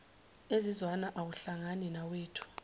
ezizwana awahlangani nawethu